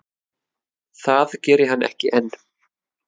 Það geri hann ekki enn.